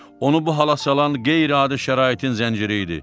Onu bu hala salan qeyri-adi şəraitin zənciri idi.